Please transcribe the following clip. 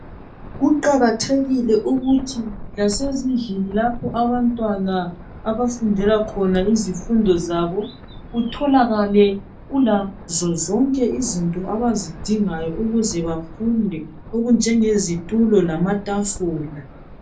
Kuqakathekile ukuthi lasezindlini lapho abantwana abafundela khona izifundo zabo kutholakale kulazo zonke izinto abazidingayo kuze bafunde okunjenge zitulo lamatafula.